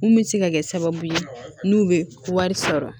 Mun bɛ se ka kɛ sababu ye n'u bɛ wari sɔrɔ